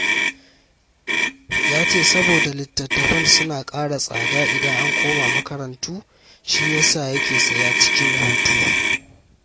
Ya ce saboda littattafan suna ƙara tsada idan an koma makarantu, shi ya sa yake saya cikin hutu